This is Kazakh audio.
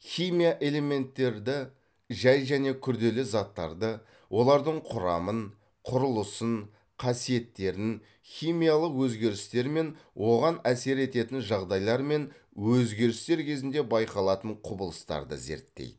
химия элементтерді жай және күрделі заттарды олардың құрамын құрылысын қасиеттерін химиялық өзгерістер мен оған әсер ететін жағдайлар мен өзгерістер кезінде байқалатын құбылыстарды зерттейді